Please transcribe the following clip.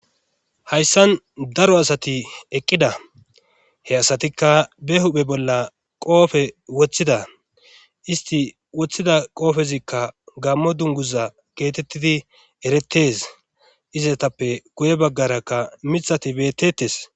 Hayssan daro asati eqqida he asatikka be huphe bolla qoofe woththida isti woththida qoofezikka gammo dunguza geetettidi eretes izatappe guye baggarakka mixati bettetes.